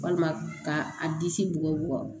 Walima ka a disi bugɔ bugɔ